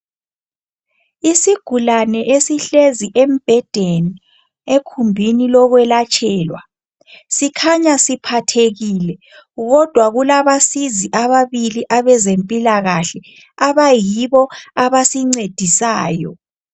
Isigulane esihlezi embhedeni ekhumbini lokwelatshelwa sikhanya siphathekile kodwa kulabasizi ababili abezempilakahle abayibo abasincedisayo.